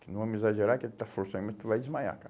Não vamos exagerar que ele está forçando, mas tu vai desmaiar, cara.